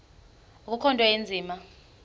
akukho nto inzima